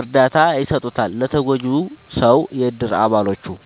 እርዳታ ይሰጡታል ለተጎጂው ሰው የእድር አባሎቹ።…ተጨማሪ ይመልከቱ